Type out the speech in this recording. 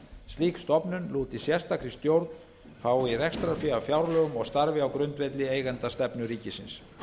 slík stofnun lúti sérstakri stjórn fái rekstrarfé af fjárlögum og starfi á grundvelli eigendastefnu ríkisins